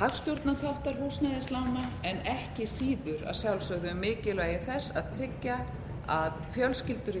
hagstjórnarþáttar húsnæðislána en ekki síður að sjálfsögðu um mikilvægi þess að tryggja að fjölskyldur í